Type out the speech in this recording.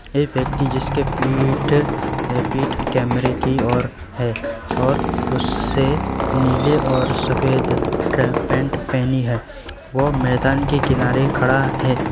एक व्यक्ति जिसके पीठ अह पीठ कैमरे की ओर है और उससे नीले और सफेद ट्रैक पैंट पहनी है वह मैदान के किनारे खड़ा है।